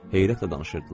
Heyrətlə danışırdılar.